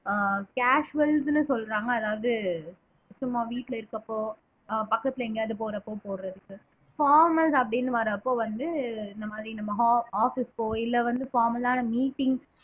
ஆஹ் casuals ன்னு சொல்றாங்க அதாவது சும்மா வீட்டுல இருக்கப்போ ஆஹ் பக்கத்துல எங்கயாவது போறப்போ போடறதுக்கு formal அப்படின்னு வர்றப்போ வந்து இந்த மாதிரி நம்ம office க்கோ இல்லை வந்து formal ஆன meetings